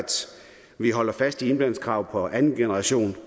vi holder fast i iblandingskravet på andengenerations